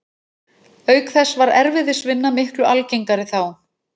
Auk þess var erfiðisvinna miklu algengari þá.